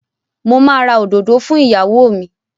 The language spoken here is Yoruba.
Mo máa ra òdòdó fún ìyàwó mi.